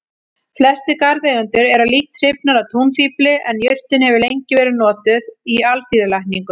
Flestir garðeigendur eru lítt hrifnir af túnfífli en jurtin hefur lengi verið notuð í alþýðulækningum.